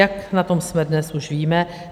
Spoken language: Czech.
Jak na tom jsme dnes, už víme.